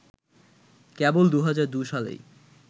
কেবল ২০০২ সালেই